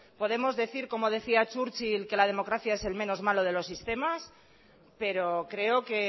podemos decir como decía churchill que la democracia es el menos malo de los sistemas pero creo que